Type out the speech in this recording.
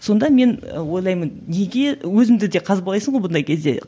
сонда мен ы ойлаймын неге өзіңді де қазбалайсың ғой бұндай кезде